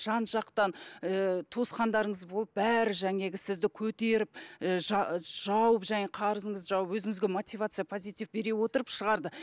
жан жақтан ыыы туысқандарыңыз болып бәрі сізді көтеріп і жауып қарызыңызды жауып өзіңізге мотивация бере отырып шығарды